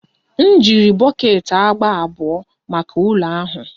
M jiri bọket agba abụọ maka ụlọ ahụ.